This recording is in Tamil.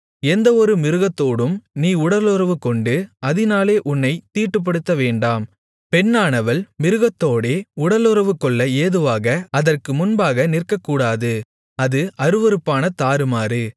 எந்தவொரு மிருகத்தோடும் நீ உடலுறவுகொண்டு அதினாலே உன்னைத் தீட்டுப்படுத்த வேண்டாம் பெண்ணானவள் மிருகத்தோடே உடலுறவுகொள்ள ஏதுவாக அதற்கு முன்பாக நிற்கக்கூடாது அது அருவருப்பான தாறுமாறு